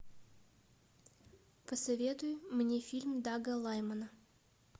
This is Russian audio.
посоветуй мне фильм дага лаймана